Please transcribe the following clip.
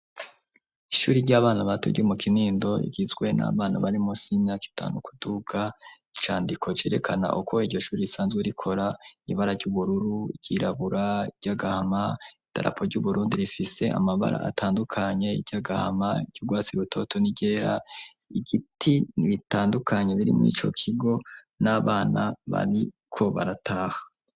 Ishuri ry'abana bato ryo mu Kinindo igizwe n'abana barimunsi y'imyaka itanu kuduka, icandiko cerekana uko iryo shuri risanzwe rikora, ibara ry'ubururu ,iryirabura ,iryagahama idarapo ry'uBurundi rifise amabara atandukanye iryagahama iry'ugwatsi rutoto n'iryera, igiti bitandukanye biri murico kigo n'abana bariko barataha